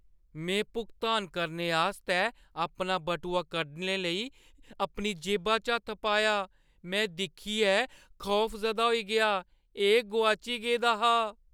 में भुगतान करने आस्तै अपना बटुआ कड्ढने लेई अपनी जेबा च हत्थ पाया। में दिक्खियै खौफजदा होई गेआ, एह् गोआची गेदा हा!